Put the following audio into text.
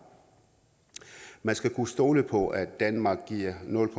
man skal kunne stole på at danmark giver nul